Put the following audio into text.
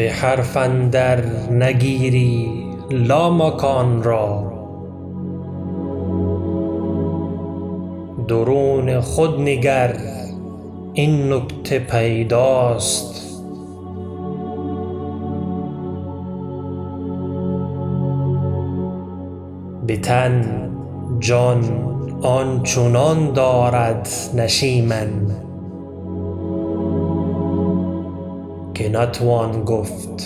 بحرف اندر نگیری لامکانرا درون خود نگر این نکته پیداست به تن جان آنچنان دارد نشیمن که نتوان گفت